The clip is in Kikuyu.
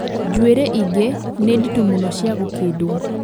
Njuĩrĩ ingĩ nĩ nditũ mũno cia gũkĩndwo